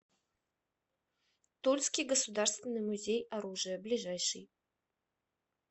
тульский государственный музей оружия ближайший